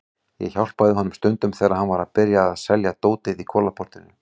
Ég hjálpaði honum stundum þegar hann var að byrja að selja dótið í Kolaportinu.